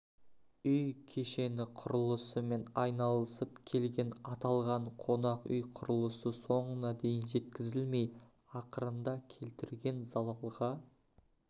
үй кешені құрылысымен айналысып келген аталған қонақ үй құрылысы соңына дейін жеткізілмей ақырында келтірген залалға